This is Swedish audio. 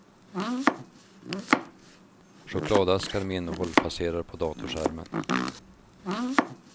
Chokladaskar med innehåll passerar på datorskärmen.